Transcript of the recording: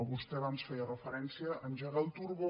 vostè abans feia referència a engegar el turbo